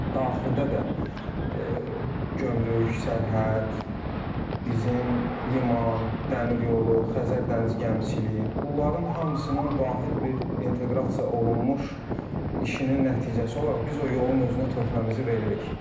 Daxildə də gömrük, sərhəd, bizim liman, dəmir yolu, Xəzər dəniz gəmiçiliyi, bunların hamısının vahid bir inteqrasiya olunmuş işinin nəticəsi olaraq biz o yolun özünə töhfəmizi veririk.